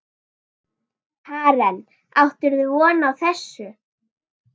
Karen: Áttirðu von á þessu?